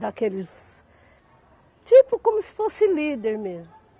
daqueles... tipo como se fosse líder mesmo.